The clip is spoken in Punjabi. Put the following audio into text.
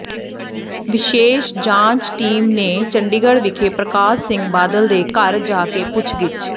ਵਿਸ਼ੇਸ ਜਾਂਚ ਟੀਮ ਨੇ ਚੰਡੀਗੜ੍ਹ ਵਿਖੇ ਪ੍ਰਕਾਸ਼ ਸਿੰਘ ਬਾਦਲ ਦੇ ਘਰ ਜਾ ਕੇ ਪੁੱਛਗਿੱਛ